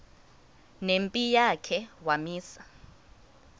nempi yakhe wamisa